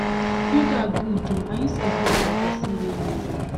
yoga good oo and you sef look like person wey need am